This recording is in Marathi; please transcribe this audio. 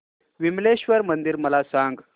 विमलेश्वर मंदिर मला सांग